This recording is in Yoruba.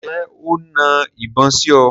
Ǹjẹ́ o na ìbọn sí ọ?